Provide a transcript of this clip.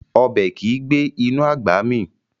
Ọbẹ̀ kìí gbé inú àgbà mì